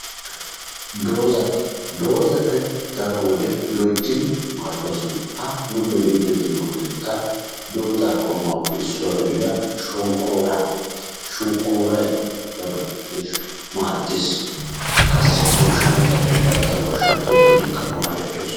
Doozata, doozati daro wode lo"ittdi maaddoosona ha nu be'iddi de'yoggekka dooza qommotuppe issuwa gidida shonkkooruwaa, shonkkooroy daro miishshaa maaddees, qassi goshshanchatti bantta goshshaan tokkidikka maadettosona.